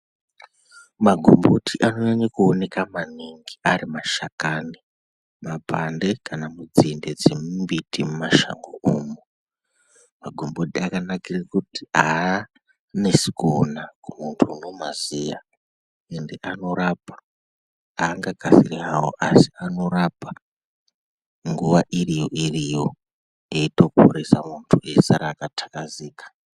Magomboti anonyanya kuoneka maningi ari mashakani ,mapande kana munzinde dzemumbuti mumashango umu magomboti akanakire kuti aanesi kuona kune muntu unomaziya ende anorapa aangagari hawo asi anorapa nguva iriyo iriyo eitoporesa muntu eisara akatakazika.